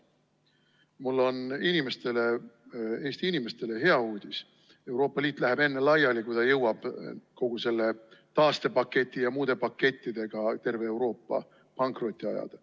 Mul on aga Eesti inimestele hea uudis: Euroopa Liit läheb enne laiali, kui ta jõuab kogu selle taastepaketi ja muude pakettidega terve Euroopa pankrotti ajada.